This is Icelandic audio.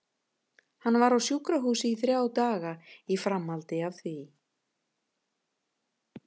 Hann var á sjúkrahúsi í þrjá daga í framhaldi af því.